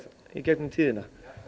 í gegnum tíðina